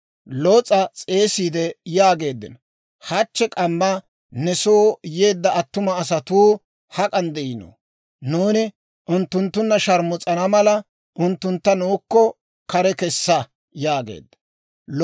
Loos'a s'eesiide yaageeddino; «Hachche k'amma ne soo yeedda attuma asatuu hak'an de'iinoo? Nuuni unttunttunna sharmus'ana mala unttuntta nuukko kare kessa» yaageeddino.